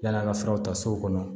Yann'an ka furaw ta so kɔnɔ